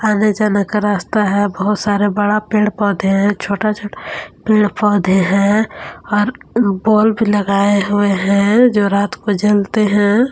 अंदर जाने का रास्ता है बहुत सारे बड़ा पेड़ पौधे हैं छोटा छोटा पेड़ पौधे हैं और बल्ब भीलगाए हुए हैं जो रात को जलते हैं।